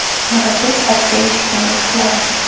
Murabbiy sifatida erishgan yutuqlari: !